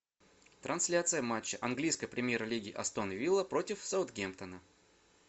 трансляция матча английской премьер лиги астон вилла против саутгемптона